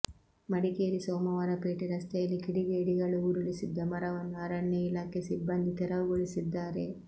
ಮಡಿಕೇರಿ ಸೋಮವಾರಪೇಟೆ ರಸ್ತೆಯಲ್ಲಿ ಕಿಡಿಗೇಡಿಗಳು ಉರುಳಿಸಿದ್ದ ಮರವನ್ನು ಅರಣ್ಯ ಇಲಾಖೆ ಸಿಬ್ಬಂದಿ ತೆರವುಗೊಳಿಸಿದ್ದಾರೆ